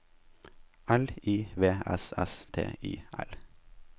L I V S S T I L